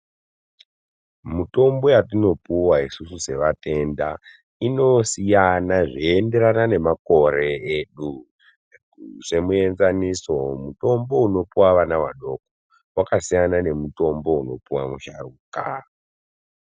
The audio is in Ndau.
Mutombo watinopuwa isusu sevatenda inosiyana zveinderana nemakore edu semuenzaniso mutombo unopuwa vana vadoko wakasiyana nemutombo unopuwa musharuka.